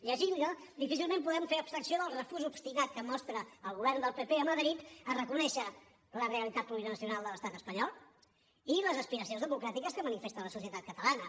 llegint la difícilment podem fer abstracció del refús obstinat que mostra el govern del pp a madrid a reconèixer la realitat pública nacional de l’estat espanyol i les aspiracions democràtiques que manifesta la societat catalana